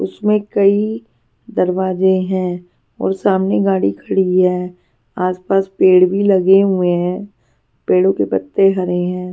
उसमें कई दरवाजे हैं और सामने गाड़ी खड़ी है आसपास पेड़ भी लगे हुए हैं पेड़ों के पत्ते हरे हैं.